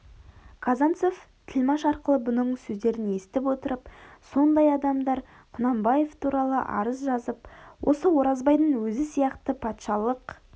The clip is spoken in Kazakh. казанцев тілмаш арқылы бұның сөздерін есітіп отырып сондай адамдар құнанбаев туралы арыз жазып осы оразбайдың өзі сияқты патшалық